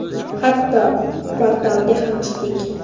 Hatto portalga ham chiqdik.